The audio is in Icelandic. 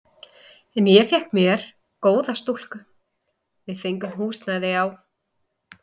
En ég fékk með mér góða stúlku, við fengum húsnæði á